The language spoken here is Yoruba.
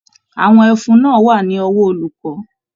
Àwọn ẹfun náà wà ní ọwọ olùkọ.